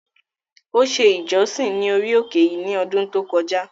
Ó se “ìjọsìn” ní orí òkè yìí ní ọdún tó kọjá.